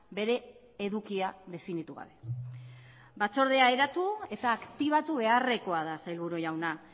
bere edukia definitu gabe batzordea eratu eta aktibatu beharrekoa da sailburu jauna